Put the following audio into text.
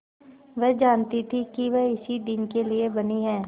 वह जानती थी कि वह इसी दिन के लिए बनी है